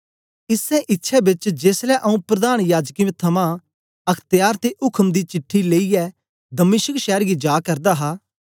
इसै इच्छै बेच जेसलै आंऊँ प्रधान याजकें थमां अख्त्यार ते उक्म दी चिट्ठी लेईयै दमिश्क शैर गी जा करदा हा